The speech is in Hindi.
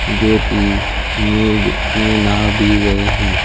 जो की ये ये नहां भी रहे हैं।